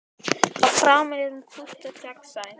Að framan er hún kúpt og gegnsæ.